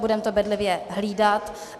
Budeme to bedlivě hlídat.